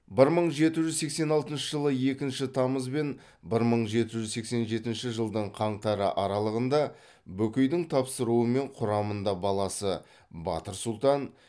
бір мың жеті жүз сексен алтыншы жылы екінші тамыз бен бір мың жеті жүз сексен жетінші жылдың қаңтары аралығында бөкейдің тапсыруымен құрамында баласы батыр сұлтан